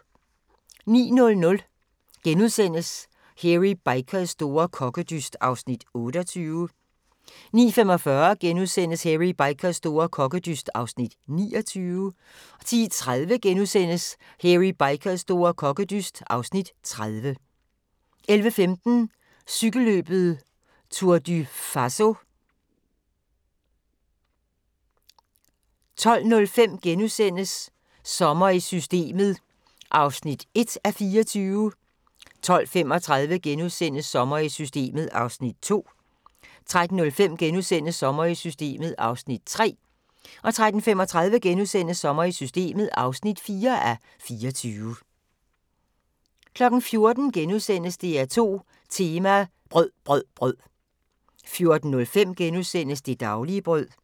09:00: Hairy Bikers store kokkedyst (Afs. 28)* 09:45: Hairy Bikers store kokkedyst (Afs. 29)* 10:30: Hairy Bikers store kokkedyst (Afs. 30)* 11:15: Cykelløbet Tour du Faso 12:05: Sommer i Systemet (1:24)* 12:35: Sommer i Systemet (2:24)* 13:05: Sommer i Systemet (3:24)* 13:35: Sommer i Systemet (4:24)* 14:00: DR2 Tema: Brød brød brød * 14:05: Det daglige brød *